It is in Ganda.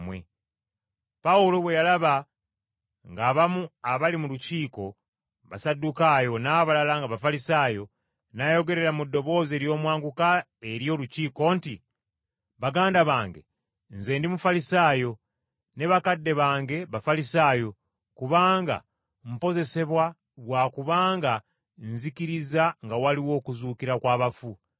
Awo Pawulo bwe yalaba ng’abamu abali mu Lukiiko Basaddukaayo n’abalala nga Bafalisaayo, n’ayogerera mu ddoboozi ery’omwanguka eri olukiiko nti, “Baganda bange, nze ndi Mufalisaayo, ne bakadde bange Bafalisaayo! Kaakano mpozesebwa lwa kubanga nzikiriza nga waliwo okuzuukira kw’abafu!”